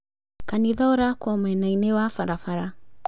Kanitha ũrakwo mwena-inĩ wa barabara